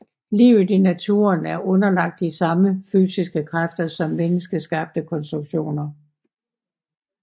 Livet i naturen er underlagt de samme fysiske kræfter som menneskeskabte konstruktioner